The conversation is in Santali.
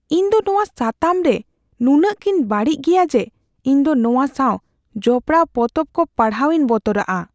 ᱤᱧ ᱫᱚ ᱱᱚᱣᱟ ᱥᱟᱛᱟᱢ ᱨᱮ ᱱᱩᱱᱟᱹᱜ ᱜᱮᱧ ᱵᱟᱹᱲᱤᱡ ᱜᱮᱭᱟ ᱡᱮ ᱤᱧ ᱫᱚ ᱱᱚᱣᱟ ᱥᱟᱣ ᱡᱚᱯᱚᱲᱟᱣ ᱯᱚᱛᱚᱵ ᱠᱚ ᱯᱟᱲᱦᱟᱣᱤᱧ ᱵᱚᱛᱚᱨᱟᱜᱼᱟ ᱾